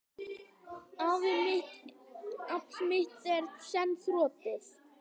Afl mitt er senn þrotið.